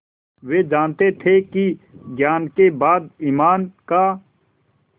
वे जानते थे कि ज्ञान के बाद ईमान का